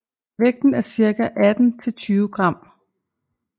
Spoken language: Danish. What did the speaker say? Vægten er cirka 18 til 20 gram